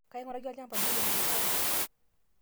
kainguraki olshamba lirem irpaek